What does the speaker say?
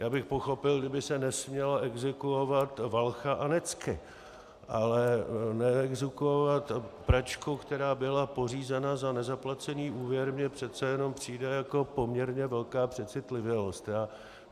Já bych pochopil, kdyby se nesměly exekuovat valcha a necky, ale neexekuovat pračku, která byla pořízena za nezaplacený úvěr, mi přece jenom přijde jako poměrně velká přecitlivělost.